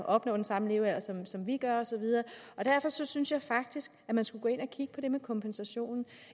opnår den samme levealder som som vi gør og så videre og derfor synes synes jeg faktisk at man skulle gå ind at kigge på det med kompensationen